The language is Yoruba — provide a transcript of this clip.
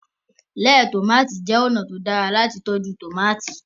lẹẹ tomati jẹ ọnà tí o dára lati tọjú tomati.